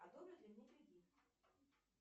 одобрят ли мне кредит